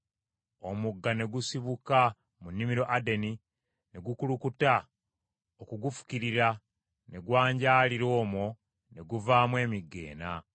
Omugga ne gusibuka mu nnimiro Adeni ne gukulukuta okulufukirira, ne gwanjaalira omwo ne guvaamu emigga ena.